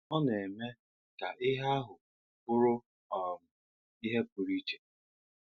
Ọ̀ nà-èmè kà íhè àhụ̀ bùrú um íhè pụ̀rụ̀ íchè